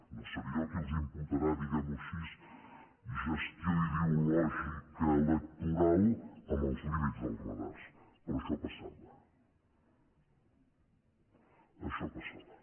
no seré jo qui els imputarà diguem ho així gestió ideològica electoral amb els límits dels radars però això passava això passava